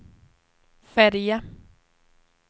färja